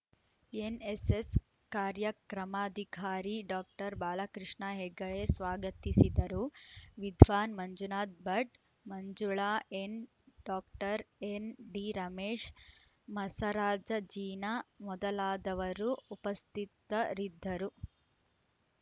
NSS ಕಾರ್ಯಕ್ರಮಾಧಿಕಾರಿ doctor Balakrishna Hegde ಸ್ವಾಗತಿಸಿದರು Vidwan Manjunatha Bhat Manjula N doctor N D Ramesh ಮಸರಾಜಜೀನಾ ಮೊದಲಾದವರು ಉಪಸ್ಥಿತರಿದ್ದರು